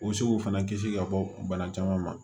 U bɛ se k'u fana kisi ka bɔ bana caman ma